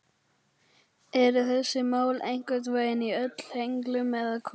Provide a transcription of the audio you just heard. Eru þessi mál einhvern veginn öll í henglum eða hvað?